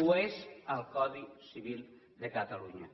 ho és al codi civil de catalunya